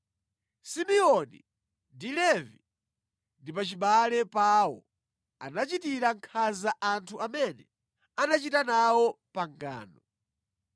“Simeoni ndi Levi ndi pachibale pawo, anachitira nkhanza anthu amene anachita nawo pangano.